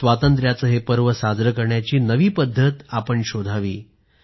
स्वातंत्र्याचं हे पर्व साजरं करायची नवी पद्धत शोधावी